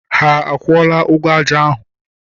Ha kwụọla ụgwọ aja ahụ?